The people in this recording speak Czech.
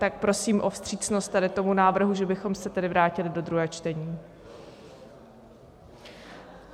Tak prosím o vstřícnost tady tomu návrhu, že bychom se tedy vrátili do druhého čtení.